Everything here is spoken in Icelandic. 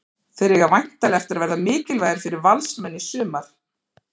Þeir eiga væntanlega eftir að verða mikilvægir fyrir Valsmenn í sumar.